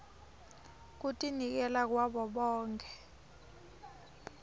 kutinikela kwabo bonkhe